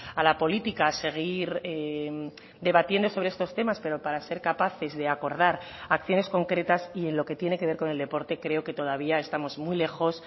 a la política a seguir debatiendo sobre estos temas pero para ser capaces de acordar acciones concretas y en lo que tiene que ver con el deporte creo que todavía estamos muy lejos